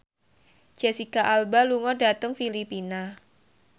Jesicca Alba lunga dhateng Filipina